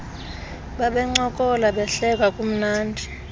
babencokola behleka kumnandi